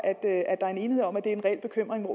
der er enighed om at det er en reel bekymring og